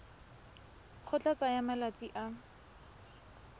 go tla tsaya malatsi a